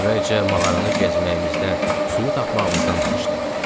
Əvvəlcə mağaranı gəzməyimizdən, suyu tapmağımızdan danışdı.